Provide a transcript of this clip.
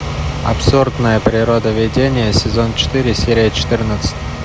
абсурдное природоведение сезон четыре серия четырнадцать